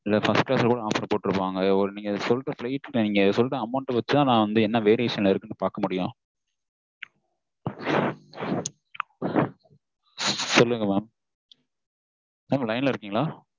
first class ல கூட offer போட்டிருப்பாங்க நீங்க சொல்ற amount வச்சு தான் நான் என்ன variation ல இருக்குன்னு பார்க்க முடியும் சொல்லுங்க mam line ல இருக்கீங்களா